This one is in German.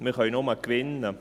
wir können nur gewinnen.